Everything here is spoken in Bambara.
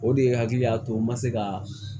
O de ye hakili y'a to n ma se ka